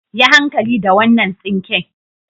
Yi hankali da wannan tsinke.